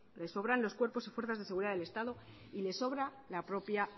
les sobran los cuerpos y fuerzas de seguridad del estado y les sobra la propia